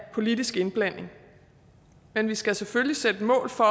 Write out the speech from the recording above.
af politisk indblanding men vi skal selvfølgelig sætte mål for